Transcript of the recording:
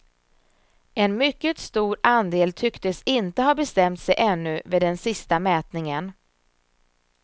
En mycket stor andel tycktes inte ha bestämt sig ännu vid den sista mätningen.